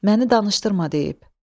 Məni danışdırma deyib.